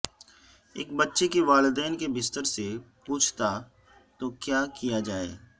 ایک بچے کے والدین کے بستر سے پوچھتا تو کیا کیا جائے